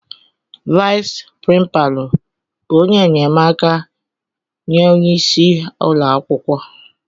Vais prínpalu bụ ónyé enyemaka nye ónyé ịsị ụlọakwụkwọ.